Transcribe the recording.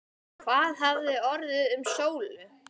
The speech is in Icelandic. Hvað hafði orðið um Sólu?